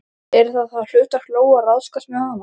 Yrði það þá hlutverk Lóu að ráðskast með hana?